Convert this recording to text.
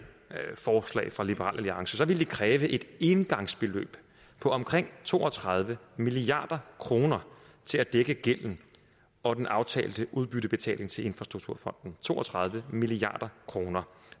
forslag fra liberal alliance ville det kræve et engangsbeløb på omkring to og tredive milliard kroner til at dække gælden og den aftalte udbyttebetaling til infrastrukturfonden to og tredive milliard kroner